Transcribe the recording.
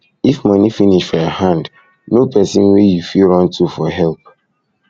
if money finish for your hand know person wey you fit run to for help